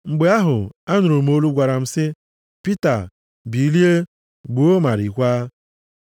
Mgbe ahụ, anụrụ m olu gwara m sị, ‘Pita, bilie, gbuo ma riekwa.’